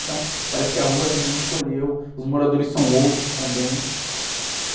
Então, parece que a rua também encolheu, os moradores são outros também.